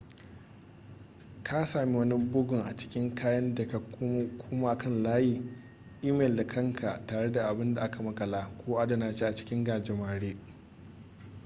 ka sami wani bugun a cikin kayan ka da kuma kan layi imel da kanka tare da abin da aka makala ko adana shi a cikin gajimare”